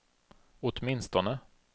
åtminstone